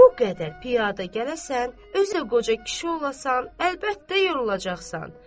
Bu qədər piyada gələsən, özə qoca kişi olasan, əlbəttə yorulacaqsan.